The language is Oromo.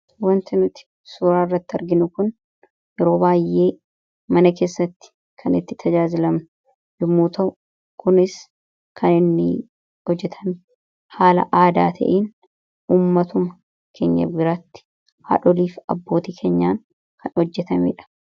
Wanta nuti suuraa irratti arginu kun yeroo baay'ee mana keessatti kan itti tajaajilamnu yommuu ta'u kunis kan inni hojjetame haala aadaa ta'een ummatuma keenya biraatti haadholii fi abboota keenyaan kan hojjetameedha.